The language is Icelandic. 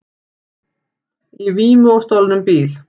Í vímu á stolnum bíl